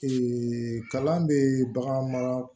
kalan bɛ bagan mara